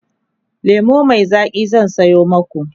lemu Mai Zaki zan Sayo maku